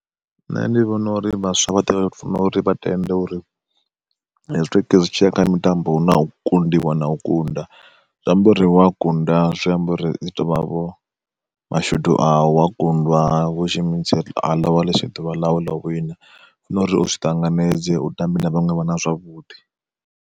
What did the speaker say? Nṋe ndi vhona uri vhaswa vhoṱhe vha tea u funa uri vha tende uri hezwi zwi tshiya kha mitambo hu na u kundiwa na u kunda, zwi amba uri wa kunda zwiamba uri zwiḓi tovha vho mashudu avho wa kundwa ḽivha ḽisi ḓuvha ḽau, ḽau wina zwino u funa uri u zwi ṱanganedze u tambae na vhaṅwe vhana zwavhuḓi.